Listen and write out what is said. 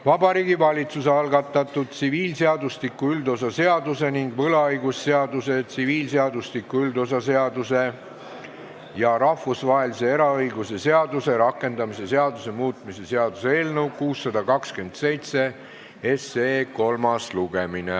Vabariigi Valitsuse algatatud tsiviilseadustiku üldosa seaduse ning võlaõigusseaduse, tsiviilseadustiku üldosa seaduse ja rahvusvahelise eraõiguse seaduse rakendamise seaduse muutmise seaduse eelnõu 627 kolmas lugemine.